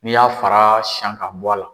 N'i y'a fara siyan ka bɔ a la.